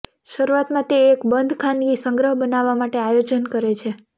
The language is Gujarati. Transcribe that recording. શરૂઆતમાં તે એક બંધ ખાનગી સંગ્રહ બનાવવા માટે આયોજન કરે છે